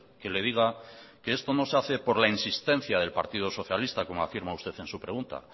que le diga que esto no se hace por la insistencia del partido socialista como afirma usted en su pregunta